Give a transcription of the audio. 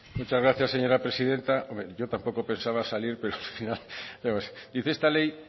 muchas gracias señora presidenta hombre yo tampoco pensaba salir pero al final dice esta ley